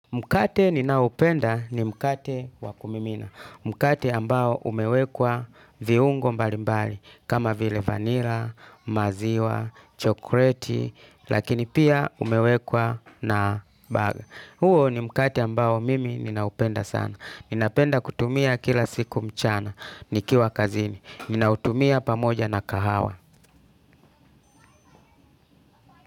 Mkate ninaopenda ni mkate wa kumimina. Mkate ambao umewekwa viungo mbali mbali. Kama vile vanilla, maziwa, chokoleti, lakini pia umewekwa na baga. Huo ni mkate ambao mimi ninaupenda sana. Ninapenda kutumia kila siku mchana. Nikiwa kazini. Ninautumia pamoja na kahawa.